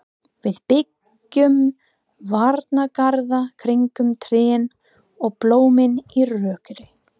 Við byggjum varnargarða kringum trén og blómin í rokinu.